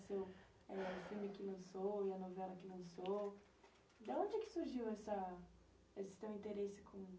do filme que lançou, da novela que lançou. De onde é que surgiu essa esse teu interesse com